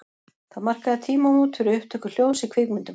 Það markaði tímamót fyrir upptöku hljóðs í kvikmyndum.